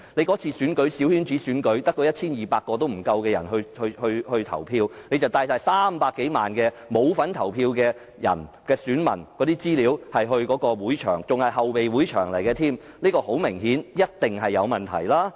這次小圈子選舉只有不足 1,200 人投票，但當局卻帶了300多萬不用投票的選民的資料前往會場，而且還要是後備場地，這顯然及一定是有問題。